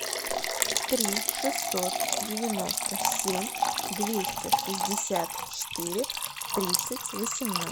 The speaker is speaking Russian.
три шестьсот девяносто семь двести шестьдесят четыре тридцать восемнадцать